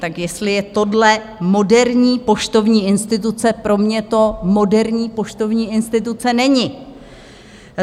Tak jestli je tohle moderní poštovní instituce, pro mě to moderní poštovní instituce není.